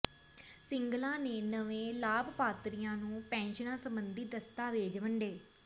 ਸਿੰਗਲਾ ਨੇ ਨਵੇਂ ਲਾਭਪਾਤਰੀਆਂ ਨੂੰ ਪੈਨਸ਼ਨਾਂ ਸਬੰਧੀ ਦਸਤਾਵੇਜ਼ ਵੰਡੇ